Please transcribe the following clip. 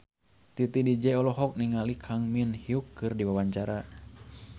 Titi DJ olohok ningali Kang Min Hyuk keur diwawancara